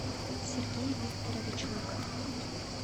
сергей викторович лыков